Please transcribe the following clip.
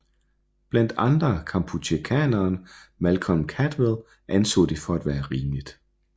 Blandt andre Kampucheakenderen Malcolm Caldwell anså det for at være rimeligt